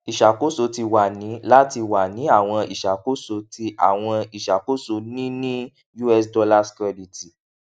iṣakoso ti wa ni lati wa ni awọn iṣakoso ti awọn iṣakoso ni ni us dollars credit